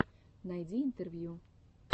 найди интервью